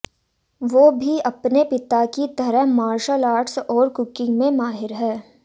वो भी अपने पिता की तरह मार्शल आर्ट्स और कुकिंग में माहिर हैं